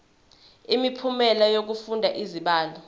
imiphumela yokufunda izibalo